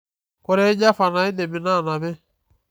koree java naidim inaanapi